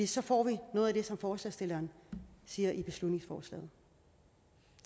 så får vi noget af det som forslagsstillerne siger i beslutningsforslaget